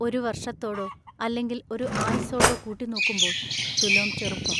ഒരു വർഷത്തോടൊ അല്ലെങ്കിൽ ഒരു ആയുസ്സോടൊ കൂട്ടി നോക്കുമ്പോൾ തുലൊം ചെറുപ്പം.